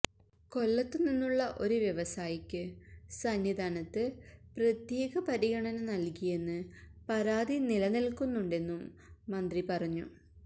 കൊല്ലത്ത് നിന്നുള്ള ഒരു വ്യവസായിയ്ക്ക് സന്നിധാനത്ത് പ്രത്യേക പരിഗണന നൽകിയെന്ന് പരാതി നിലനിൽക്കുന്നുണ്ടെന്നും മന്ത്രി പറഞ്ഞു